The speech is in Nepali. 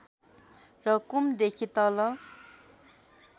र कुम देखि तल